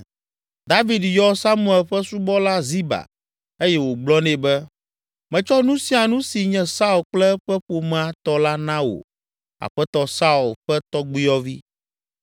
David yɔ Saul ƒe subɔla Ziba eye wògblɔ nɛ be, “Metsɔ nu sia nu si nye Saul kple eƒe ƒomea tɔ la na wò aƒetɔ Saul ƒe tɔgbuiyɔvi.